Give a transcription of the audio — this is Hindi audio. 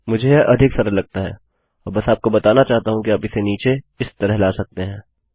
मैं यह अधिक सरल लगता है और बस आपको बताना चाहता हूँ कि आप इसे नीचे इस तरह से ला सकते हैं